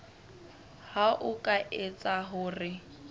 ha ho ka etseha hore